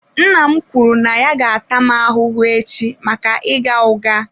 Nna m kwuru na ya ga-ata m ahụhụ echi maka ịgha ụgha.